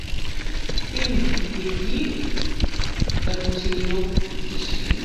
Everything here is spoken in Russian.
фильм беги ручеек ищи